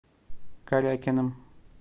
корякиным